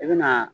I bɛna